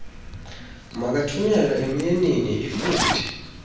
makathunyelwe emyeniinl lfuthe